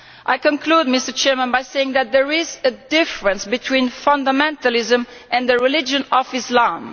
I conclude by saying that there is a difference between fundamentalism and the religion of Islam.